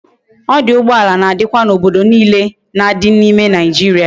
Oduugboala na dikwa na obodo niile na di na ime naijiria